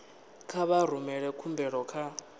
kha vha rumele khumbelo kha